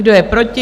Kdo je proti?